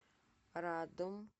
радом